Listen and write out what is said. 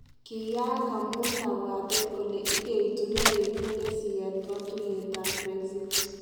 Kiyaak amun kapwatet kole igeitun ne yekinde siyet katuyet ab Brexit